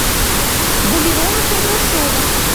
валерона кондрашова